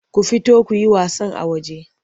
Ku fita ku yi wasan a waje!